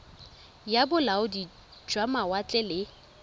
ya bolaodi jwa mawatle le